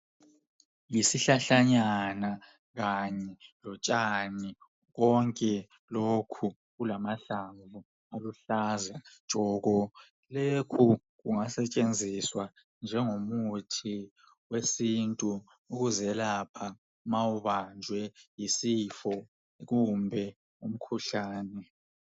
Yisihlalanyana kanye lotshani konke lokhu kulamahlamvu aluhlaza tshoko. Lokhu kungasetshenziswa njengomuthi wesintu ukuzelapha ma ubanjwe yisifo kumbe umkhuhlane.